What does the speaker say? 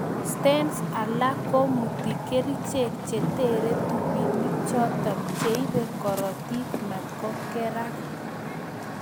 Stents alak komuti kerichek chetere tupinik chotok cheibe korotik matkokerak